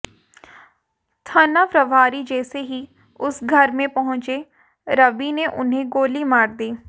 थना प्रभारी जैसे ही उस घर में पहुंचे रवि ने उन्हें गोली मार दी